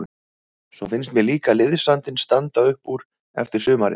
Svo finnst mér líka liðsandinn standa upp úr eftir sumarið.